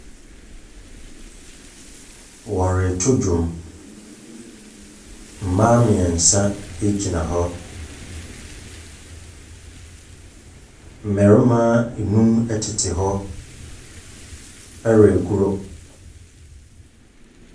Wɔreto dwom. Mmaa mmeɛnsa gyina hɔ. Mmarima nnum tete hɔ regoro.